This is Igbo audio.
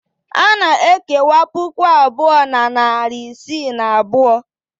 A na-ekewa puku abụọ na narị isii na abụọ.